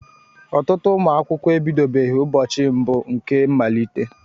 Ọtụtụ ụmụ akwụkwọ ebidobeghị ụbọchị mbụ nke mmalite.